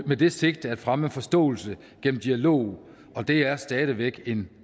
med det sigte at fremme forståelse gennem dialog og det er stadig væk en